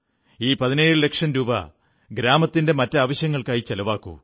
ഈ 17 ലക്ഷം രൂപ ഗ്രാമത്തിന്റെ മറ്റാവശ്യങ്ങൾക്കായി ചിലവാക്കൂ